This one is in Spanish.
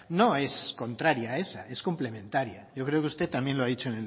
no es contraria a esa es complementaria yo creo que usted también lo ha dicho